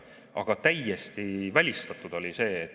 Aga see oli täiesti välistatud.